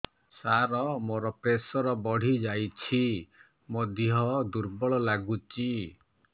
ସାର ମୋର ପ୍ରେସର ବଢ଼ିଯାଇଛି ମୋ ଦିହ ଦୁର୍ବଳ ଲାଗୁଚି